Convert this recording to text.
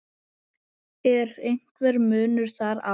Er einhver munur þar á?